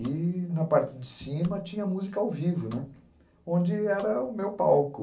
E na parte de cima tinha música ao vivo, né, onde era o meu palco.